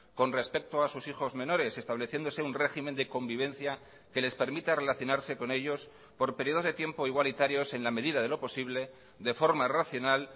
con respecto a sus hijos menores estableciéndose un régimen de convivencia que les permita relacionarse con ellos por periodos de tiempo igualitarios en la medida de lo posible de forma racional